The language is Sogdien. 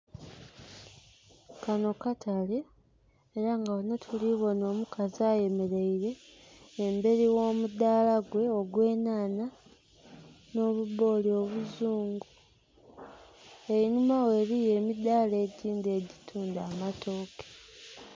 Kanho katale, era nga ghanho tuli bonha omukazi ayemeleire emberi gh'omudhala gwe ogw'enhanha nh'obubboli obuzungu. Einhuma ghe eliyo emidhala egindhi egitunda amatooke.